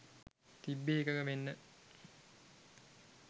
තිබ්බේ එකඟ වෙන්න.